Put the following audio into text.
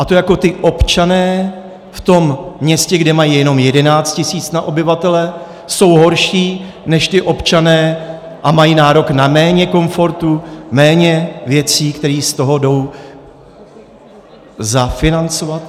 A to jako ti občané v tom městě, kde mají jenom 11 tisíc na obyvatele, jsou horší než ti občané a mají nárok na méně komfortu, méně věcí, které z toho jdou zafinancovat?